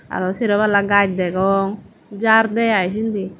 aro sero palla gaj degong jhar de iy sindi.